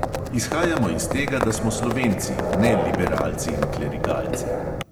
Izhajajmo iz tega, da smo slovenci, ne liberalci in klerikalci.